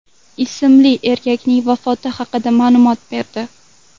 ismli erkakning vafoti haqida ma’lumot berdi .